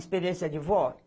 Experiência de vó?